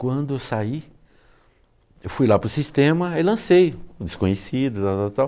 Quando eu saí, eu fui lá para o sistema e lancei o Desconhecido, tal, tal, tal.